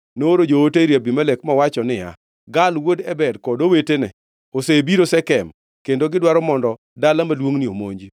Nooro joote ir Abimelek, mowacho niya, “Gaal wuod Ebed kod owetena osebiro Shekem kendo gidwaro mondo dala maduongʼ omonji.